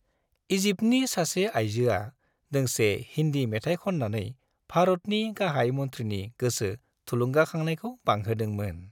इजिप्टनि सासे आइजोआ दोंसे हिन्दी मेथाइ खन्नानै भारतनि गाहाय मन्थ्रिनि गोसो थुलुंगाखांनायखौ बांहोदोंमोन।